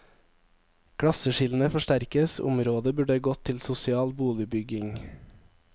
Klasseskillene forsterkes, området burde gått til sosial boligbygging.